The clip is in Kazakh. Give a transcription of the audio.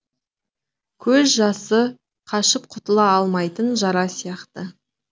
көз жасы қашып құтыла алмайтын жара сияқты